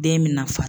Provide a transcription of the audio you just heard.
Den bɛ na fa